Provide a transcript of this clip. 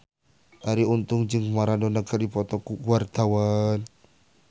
Arie Untung jeung Maradona keur dipoto ku wartawan